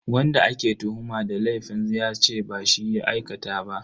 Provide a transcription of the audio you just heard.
Wanda ake tuhuma da laifin yace ba shi ya aikata ba.